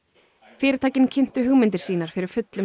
fyrirtækin kynntu hugmyndir sínar fyrir fullum